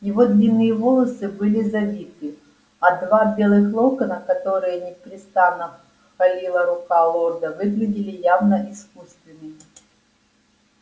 его длинные волосы были завиты а два белых локона которые непрестанно холила рука лорда выглядели явно искусственными